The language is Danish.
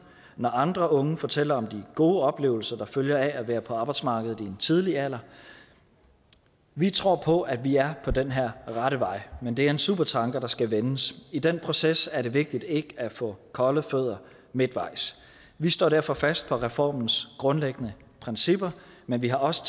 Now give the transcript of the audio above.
når andre unge fortæller om de gode oplevelser der følger af at være på arbejdsmarkedet i en tidlig alder vi tror på at vi er på den her rette vej men det er en supertanker der skal vendes i den proces er det vigtigt ikke at få kolde fødder midtvejs vi står derfor fast på reformens grundlæggende principper men vi har også